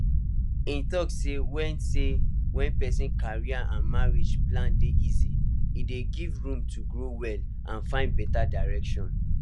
e talk say when say when person career and marriage plans dey easy e dey give room to grow well and find better direction